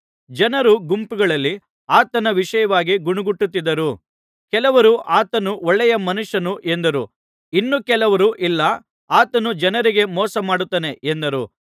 ಜನರು ಗುಂಪುಗಳಲ್ಲಿ ಆತನ ವಿಷಯವಾಗಿ ಗೊಣಗುಟ್ಟುತಿದ್ದರು ಕೆಲವರು ಆತನು ಒಳ್ಳೆಯ ಮನುಷ್ಯನು ಎಂದರು ಇನ್ನು ಕೆಲವರು ಇಲ್ಲ ಆತನು ಜನರಿಗೆ ಮೋಸ ಮಾಡುತ್ತಾನೆ ಎಂದರು